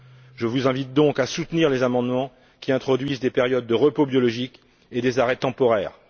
Je vous invite donc à soutenir les amendements qui introduisent des périodes de repos biologique et des arrêts temporaires.